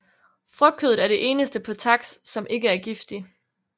Frugtkødet er det eneste på taks som ikke er giftig